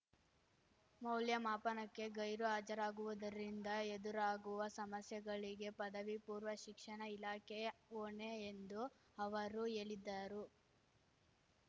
ಮೌಲ್ಯಮಾಪನಕ್ಕೆ ಗೈರು ಹಾಜರಾಗುವುದರಿಂದ ಎದುರಾಗುವ ಸಮಸ್ಯೆಗಳಿಗೆ ಪದವಿ ಪೂರ್ವ ಶಿಕ್ಷಣ ಇಲಾಖೆಯೇ ಹೊಣೆ ಎಂದು ಅವರು ಹೇಳಿದ್ದರು